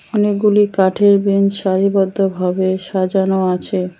অনেকগুলি কাঠের ব্রেঞ্চ সারিবদ্ধভাবে সাজানো আছে।